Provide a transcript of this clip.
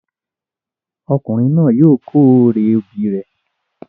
Ọkùnrin náà yóò kó èrè obì rẹ